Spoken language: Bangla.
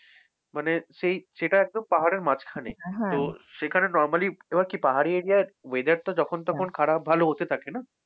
মানে সেই সেটা একদম পাহাড়ের মাঝখানে তো, সেখানে normally এমন কি পাহাড়ি area র weather টা যখন তখন খারাপ ভালো হতে থাকে না?